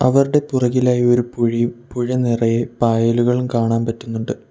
അവർടെ പുറകിലായി ഒരു പുഴയും പുഴ നിറയെ പായലുകളും കാണാൻ പറ്റുന്നുണ്ട്.